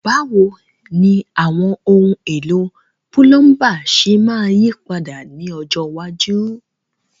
Báwo ni àwọn ohun èlò púlọ́ńbà ṣe máa yí padà ní ọjọ́ iwájú?